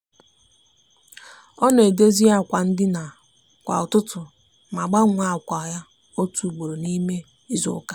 o n'edozi akwa ndina kwa ututu ma gbanwe akwa ya otu ugbo n'ime izuuka.